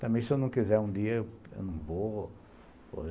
Também, se eu não quiser, um dia eu não vou.